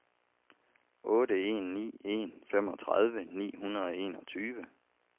otte en ni en femogtredive ni hundrede og enogtyve